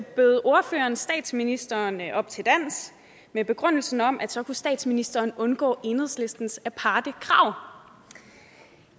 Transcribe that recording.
bød ordføreren statsministeren op til dans med begrundelsen om at så kunne statsministeren undgå enhedslistens aparte krav